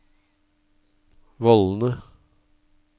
vollene